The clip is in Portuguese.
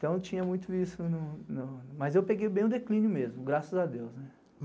Então tinha muito isso, mas eu peguei bem o declínio mesmo, graças a Deus.